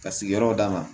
Ka sigiyɔrɔ d'a ma